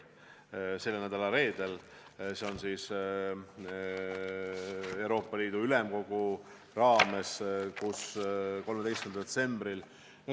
See toimub Euroopa Ülemkogu raames, 13. detsembril.